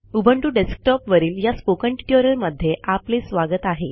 Ubuntu डेस्कटॉपवरील या spoken ट्युटोरियलमध्ये आपले स्वागत आहे